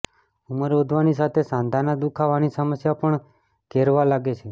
ઉમરં વધવાની સાથે સાંધાના દુખાવાની સમસ્યા પણ ઘેરવા લાગે છે